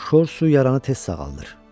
Şor su yaranı tez sağaldır.